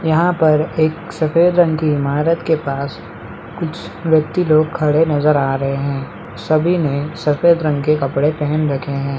यहाँ पर एक सफेद रंग की ईमारत के पास कुछ व्यक्ति लोग खड़े हुए नजर आ रहे है सभी ने सफेद रंग के कपड़े पहन रखे है।